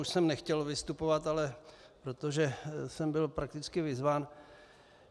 Už jsem nechtěl vystupovat, ale protože jsem byl prakticky vyzván.